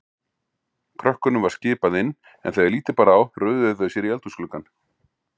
Krökkunum var skipað inn, en þegar lítið bar á röðuðu þau sér í eldhúsgluggann.